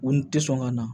U ni tɛ sɔn ka na